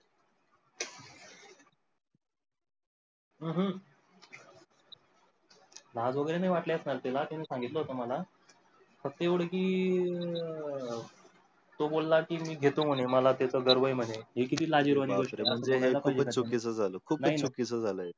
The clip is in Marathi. लाज वगैरे नाही वाटली असणार त्याला त्यांनी सांगितलं होत मला. फक्त एवढं कि अं तो बोला की मी घेतो म्हणे मला त्याचा गर्व म्हणे. ही किती लाजिरवाणी गोष्ट म्हणजे हे खूपच चुकीचं झाल, खूप चुकीचं झालं हे.